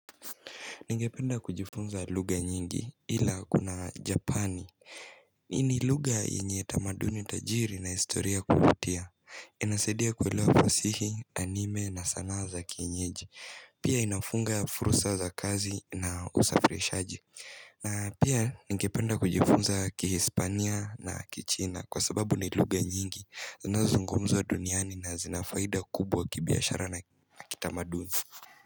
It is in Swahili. Ningependa kujifunza luga nyingi ila kuna japani Ini luga enye tamaduni tajiri na historia kuvutia Inasedia kuwelewa fasihi, anime na sana za kienyeji Pia inafunga fursa za kazi na usafirishaji na pia ningependa kujifunza kihispania na kichina Kwa sababu ni luga nyingi zinazo zungumzwa duniani na zinafaida kubwa kibiashara na kitamaduni.